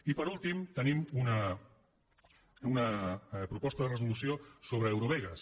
i per últim tenim una proposta de resolució sobre eurovegas